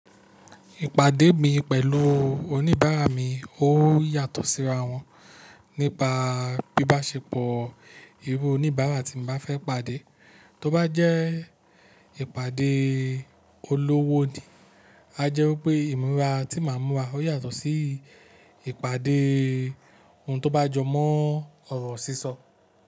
Ìpàdé mi pẹ̀lú oníbàárà mi ó yàtọ̀ síra wọn nípa bíbáṣepọ̀ irú oníbàárà tí mo bá fẹ́ pàdé. Tóbá jẹ́ ìpàdé olówó ni, a jẹ́ wípé ìmúra tí màá múra ó yàtọ̀ sí ìpàdé ohun tó bá jọmọ́ ọ̀rọ̀ sísọ.